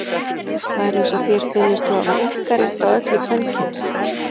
Það er eins og þér finnist þú hafa einkarétt á öllu kvenkyns.